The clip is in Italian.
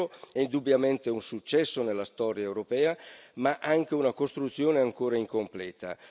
L'euro è indubbiamente un successo nella storia europea, ma anche una costruzione ancora incompleta.